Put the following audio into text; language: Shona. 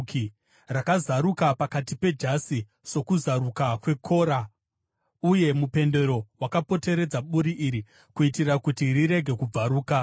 rakazaruka pakati pejasi sokuzaruka kwekora, uye mupendero wakapoteredza buri iri, kuitira kuti rirege kubvaruka.